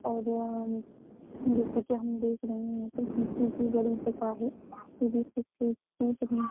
और जैसे कि हम देख रहे हैं बड़ी जगह है। --